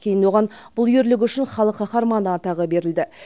кейін оған бұл ерлігі үшін халық қаһарманы атағы берілді